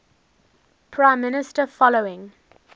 prime minister following